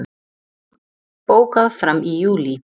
Bókað fram í júlí